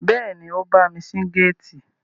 Bẹ́ẹ̀ni, ó bámi ṣí géètì